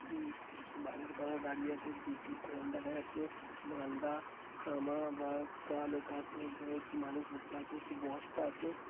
টি বাজার করা গাড়ি আছে দুটি ফ্যান দেখা যাচ্ছে মালদা সামাভায়াসকা লেখা আছে এক জায়গায় একটি মানুষ বসে আছে একটি বস্তা আছে।